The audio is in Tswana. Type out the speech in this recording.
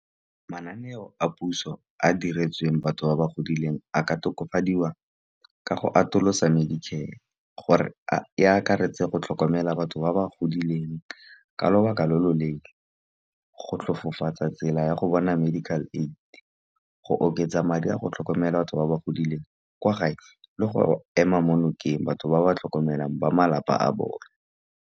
Mananeo a puso a diretsweng batho ba ba godileng a ka tokafadiwa ka go atolosa medicare, gore e akaretse go tlhokomela batho ba ba godileng ka lobaka lo loleele. Go tlhofofotsa tsela ya go bona medical aid, go oketsa madi a go tlhokomela batho ba ba godileng kwa gae le go ema mo nokeng, batho ba ba tlhokomelang ba malapa a bone.